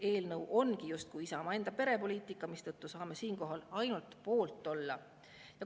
Eelnõu ongi justkui Isamaa enda perepoliitika, mistõttu saame siinkohal ainult poolt olla.